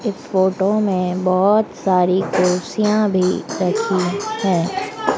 इस फोटो में बहुत सारी कुर्सियां भी रखी हैं।